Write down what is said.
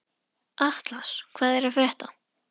Atlas, hvað er að frétta?